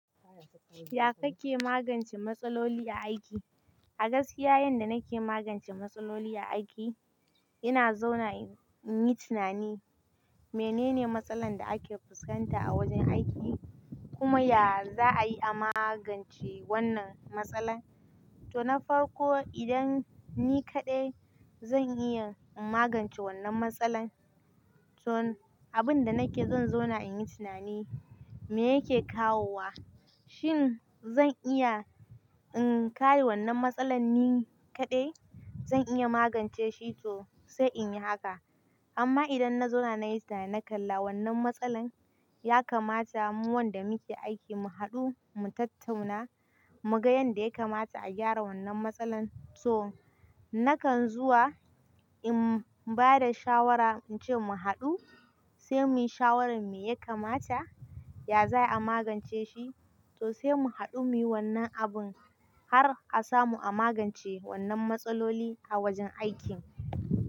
Ya kake magance matsaloli a aiki? A gaskiya yanda nake magance matsaloli a aiki, ina zauna in yi tunani menene matsalar da ake fuskanta a wajen aiki kuma yanzu za a yi a magance wannan matsalar. To na farko idan ni kaɗai zan iya in magance wannan matsalar, to abin da nake zan zauna in yi tunani me yake kawowa, shin zan iya in kawo wannan matsalar ni kaɗai zan iya magance shi to sai in yi haka. Amma idan na zauna na yi tunani na kalla wannan matsalar ya kamata mu wanda muke aiki mu haɗu mu tattauna mu ga yanda ya kamata a gyara wannan matsalar. So nakan zuwa in ba da shawara in ce mu haɗu sai muyi shawaran me ya kamata ya za a magance shi to sai mu haɗu muyi wannan abun har a samu a magance wannan matsaloli a wajen aikin.